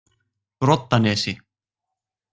Broddanesi